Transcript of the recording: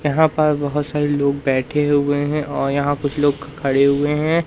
यहां पर बहोत सारे लोग बैठे हुए हैं और यहां कुछ लोग खड़े हुए हैं।